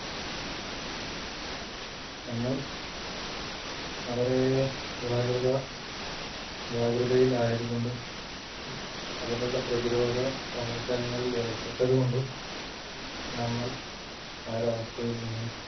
നമ്മൾ വളരെ ജാഗ്രത ജാഗ്രതയില് ആയത് കൊണ്ടും അതിനുള്ള പ്രതിരോധ പ്രവർത്തനങ്ങളിൽ ഏർപെട്ടത് കൊണ്ടും നമ്മൾ ആ ഒരു അവസ്ഥയിൽ നിന്നും